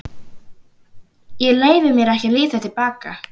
Ég leyfi mér ekki að líta til baka.